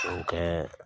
O kɛ